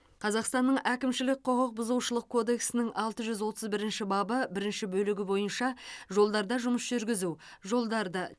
қазақстанның әкімшілік құқық бұзушылық кодексінің алты жүз отыз бірінші бабы бірінші бөлігі бойынша жолдарда жұмыс жүргізу жолдарды